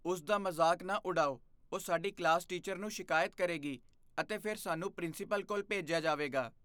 ਉਸ ਦਾ ਮਜ਼ਾਕ ਨਾ ਉਡਾਓ। ਉਹ ਸਾਡੀ ਕਲਾਸ ਟੀਚਰ ਨੂੰ ਸ਼ਿਕਾਇਤ ਕਰੇਗੀ ਅਤੇ ਫਿਰ ਸਾਨੂੰ ਪ੍ਰਿੰਸੀਪਲ ਕੋਲ ਭੇਜਿਆ ਜਾਵੇਗਾ।